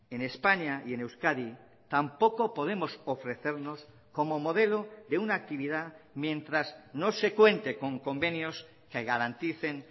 en españa y en euskadi tampoco podemos ofrecernos como modelo de una actividad mientras no se cuente con convenios que garanticen